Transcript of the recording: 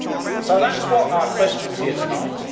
up. So that is what our question is here tonight.